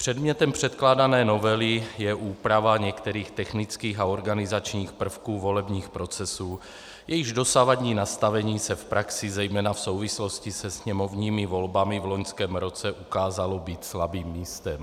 Předmětem předkládané novely je úprava některých technických a organizačních prvků volebních procesů, jejichž dosavadní nastavení se v praxi zejména v souvislosti se sněmovními volbami v loňském roce ukázalo být slabým místem.